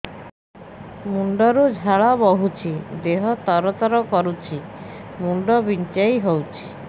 ମୁଣ୍ଡ ରୁ ଝାଳ ବହୁଛି ଦେହ ତର ତର କରୁଛି ମୁଣ୍ଡ ବିଞ୍ଛାଇ ହଉଛି